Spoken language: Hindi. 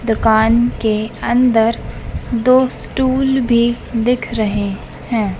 दुकान के अंदर दो स्टूल भी दिख रहे हैं।